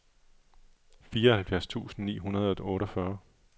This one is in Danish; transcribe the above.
fireoghalvfjerds tusind ni hundrede og otteogfyrre